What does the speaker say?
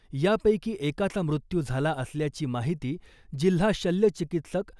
यापैकी एकाचा मृत्यू झाला असल्याची माहिती जिल्हा शल्यचिकित्सक